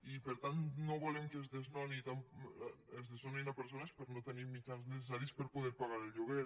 i per tant no volem que es desnoni persones per no tenir els mitjans necessaris per a poder pagar el lloguer